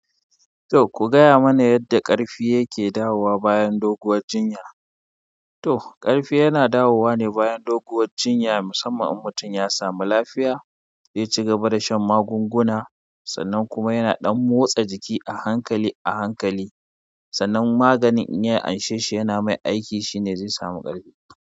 To ku gaya mana yadda ƙarfi yake dawowa bayan doguwar jinya. To ƙarfi yana dawowa ne bayan doguwar jinya, musamman in mutum ya samu lafiya, ya ci gaba da shan magunguna, sannan kuma yana ɗan motsa jiki a hankali a hankali. Sannan maganin inya anshe shi yana mai aiki shine zai samu ƙarfi.